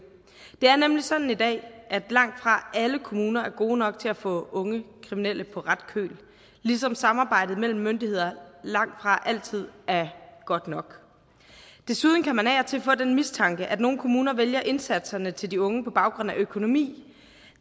det er nemlig sådan i dag at langtfra alle kommuner er gode nok til at få unge kriminelle på ret køl ligesom samarbejdet mellem myndigheder langtfra altid er godt nok desuden kan man af og til få den mistanke at nogle kommuner vælger indsatserne til de unge på baggrund af økonomi